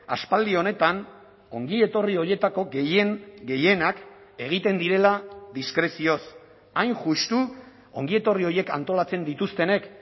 aspaldi honetan ongietorri horietako gehien gehienak egiten direla diskrezioz hain justu ongietorri horiek antolatzen dituztenek